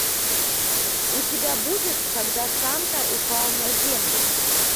у тебя будет когда санта упал на землю